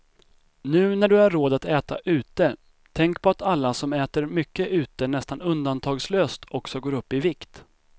Nu när du har råd att äta ute, tänk på att alla som äter mycket ute nästan undantagslöst också går upp i vikt.